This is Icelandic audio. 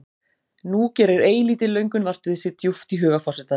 Nú gerir eilítil löngun vart við sig djúpt í huga forsetans.